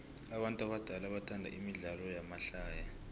abantu abadala bathanda imidlalo yamahlaya